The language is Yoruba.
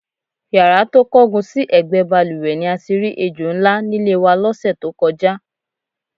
Yàrá tó kángun sí è̩gbé̩ balùwè̩ ni a ti rí ejò ńlá nílé wa ló̩sè̩ tó ko̩já.